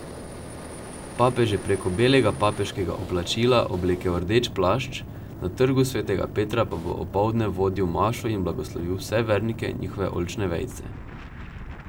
Papež je preko belega papeškega oblačila oblekel rdeč plašč, na Trgu svetega Petra pa bo opoldne vodil mašo in blagoslovil vse vernike in njihove oljčne vejice.